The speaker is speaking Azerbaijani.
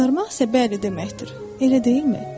Qızarmaq isə bəli deməkdir, elə deyilmi?